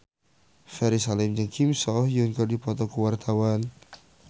Ferry Salim jeung Kim So Hyun keur dipoto ku wartawan